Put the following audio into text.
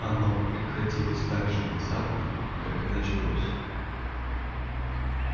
оно прекратилось так же внезапно как и началось